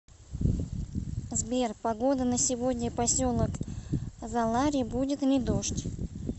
сбер погода на сегодня поселок залари будет ли дождь